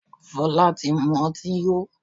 Fola tí mú ọtí yó.